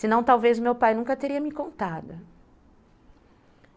Senão, talvez, meu pai nunca teria me contado.